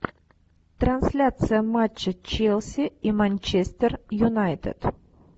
трансляция матча челси и манчестер юнайтед